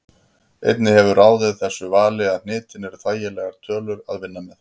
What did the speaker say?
Einnig hefur ráðið þessu vali að hnitin eru þægilegar tölur að vinna með.